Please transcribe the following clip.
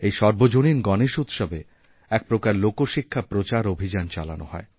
এই সর্বজনীন গণেশ উৎসবে একপ্রকার লোকশিক্ষার প্রচারঅভিযান চালানো হয়